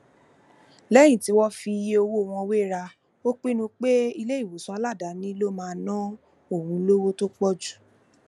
lẹyìn tó fi iye owó wọn wéra ó pinnu pé iléìwòsàn aladaani ló máa ná òun lówó tó pọ̀jù